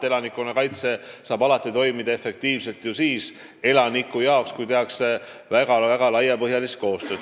Elanikkonnakaitse saab toimida efektiivselt vaid siis, kui koostööd tehakse väga laial põhjal.